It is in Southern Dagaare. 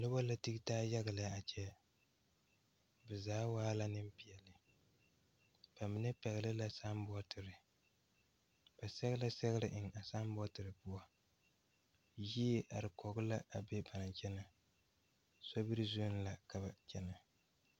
Nobɔ la tige taa yaga lɛ a kyɛ ba zaa waa la neŋpeɛɛle ba mine pɛgle la saanbɔɔterre ba sɛge la sɛgre wŋ a saanbɔɔterre poɔ yie are kɔge la a be ba naŋ kyɛnɛ sobiri zuŋ la ka ba kyɛnɛ.